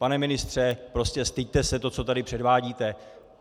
Pane ministře, prostě styďte se, to, co tady předvádíte.